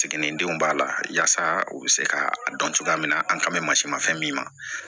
Siginidenw b'a la yaasa u bɛ se ka a dɔn cogoya min na an kan mɛ masi ma fɛn min ma